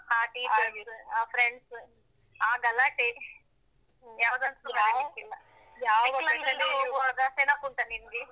ಆ teachers , ಆ friends , ಆ ಗಲಾಟೆ. ಯಾವುದನ್ನಸಾ ಮರಿಯಕ್ಕಗಲ್ಲ. ಯಾವ್ ಹೋಗುವಾಗ ನೆನಪುಂಟಾ ನಿಂಗೆ?